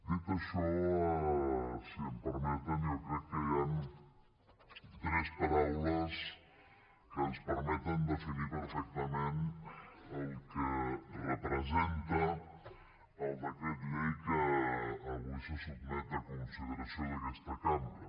dit això si m’ho permeten jo crec que hi han tres paraules que ens permeten definir perfectament el que representa el decret llei que avui se sotmet a consideració d’aquesta cambra